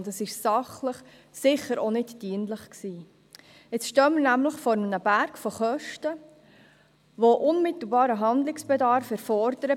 Der Sache war es sicher auch nicht dienlich, denn jetzt stehen wir nämlich vor einem Kostenberg, der unmittelbares Handeln erfordert.